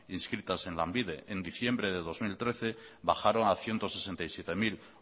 inscritas en lanbide en diciembre de dos mil trece bajaron a ciento sesenta y siete mil